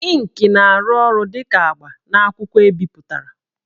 Ịnkị na-arụ ọrụ dị ka agba n'akwụkwọ ebipụtara